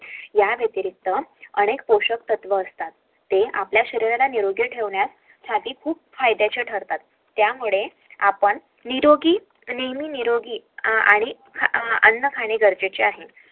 या व्यतिरिक्त अनेक पोषक तत्व असतात ते आपल्या शरीराला निरोगी ठेवण्यासाठी खूप फायद्याचे ठरतात त्यामुळे आपण निरोगी नेहमी निरोगी आणि अन्न खाणे गरजेचे आहे